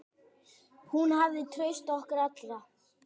Hún hafði traust okkar allra.